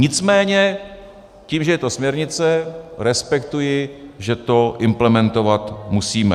Nicméně tím, že je to směrnice, respektuji, že to implementovat musíme.